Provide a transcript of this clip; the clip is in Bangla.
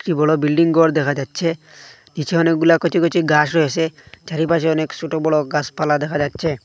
কী বড়ো বিল্ডিং গর দেখা যাচ্ছে নিচে অনেকগুলা কচি কচি গাস রয়েসে চারিপাশে অনেক সোটো বড়ো গাসপালা দেখা যাচ্ছে।